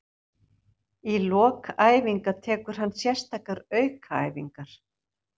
Í lok æfinga tekur hann sérstakar aukaæfingar.